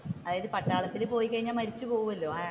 അതായത് പട്ടാളത്തിൽ പോയി കഴിഞ്ഞ മരിച്ചു പോകുമല്ലോ